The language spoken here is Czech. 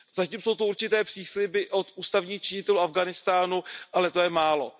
Zatím jsou tu určité přísliby od ústavních činitelů Afghánistánu, ale to je málo.